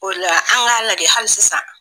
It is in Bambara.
O la an k'a lajɛ hali sisan.